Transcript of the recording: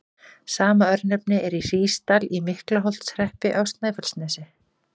Sama örnefni er í Hrísdal í Miklaholtshreppi á Snæfellsnesi.